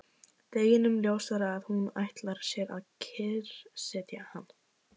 Deginum ljósara að hún ætlar sér að kyrrsetja hann!